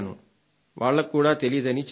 వాళ్లకి కూడా తెలీదని చెప్పారు